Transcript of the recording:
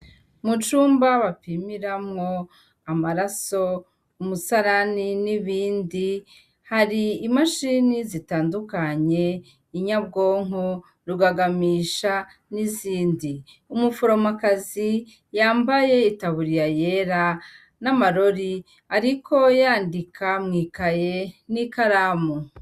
Mu cumba bapimiramwo amaraso, umusarani n'ibindi, har'i mashini zitandukanye, inyabwonko, rugagamisha n'inzindi. Umuforomakazi yambaye i taburiya yera n'amarori ariko yandika mw'ikaye n'ikaramu.